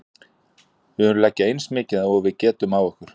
Við viljum leggja eins mikið og við getum á okkur.